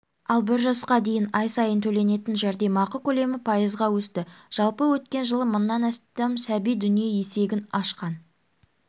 ал бір жасқа дейін ай сайын төленетін жәрдемақы көлемі пайызға өсті жалпы өткен жылы мыңнан астам сәби дүние есегін ашқан